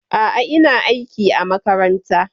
A'a, ina aiki a makaranta.